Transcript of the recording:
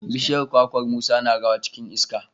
bishiyar kwakwar Musa na rawa cikin iska.